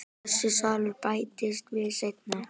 Þessi salur bættist við seinna.